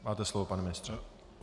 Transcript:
Máte slovo, pane ministře.